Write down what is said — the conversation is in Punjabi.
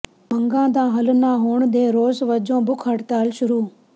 ਮੰਗਾਂ ਦਾ ਹੱਲ ਨਾ ਹੋਣ ਦੇ ਰੋਸ ਵਜੋਂ ਭੁੱਖ ਹੜਤਾਲ ਸ਼ੁਰੂ